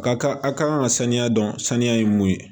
A ka kan a ka kan ka sanuya dɔn saniya ye mun ye